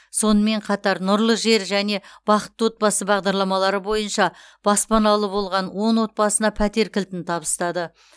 сонымен қатар нұрлы жер және бақытты отбасы бағдарламалары бойынша баспаналы болған он отбасына пәтер кілтін табыстады